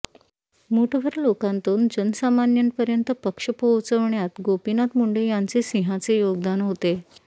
मूठभर लोकांतून जनसामान्यांपर्यंत पक्ष पोहोचवण्यात गोपीनाथ मुंडे यांचे सिंहाचे योगदान होते